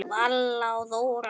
Vala og Þóra.